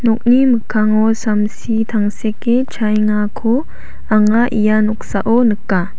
nokni mikkango samsi tangseke chaengako anga ia noksao nika.